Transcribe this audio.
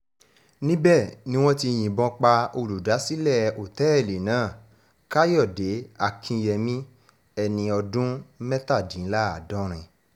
níbẹ̀ ni wọ́n ti yìnbọn pa olùdásílẹ̀ òtẹ́ẹ̀lì náà káyọ̀dé akínyẹmí ẹni ọdún mẹ́tàdínláàádọ́rin